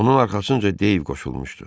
Onun arxasınca Deyv qoşulmuşdu.